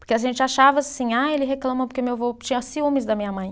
Porque a gente achava assim, ah, ele reclama porque meu vô tinha ciúmes da minha mãe.